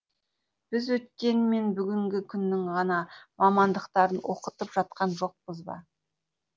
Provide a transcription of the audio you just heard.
біз өткен мен бүгінгі күннің ғана мамандықтарын оқытып жатқан жоқпыз ба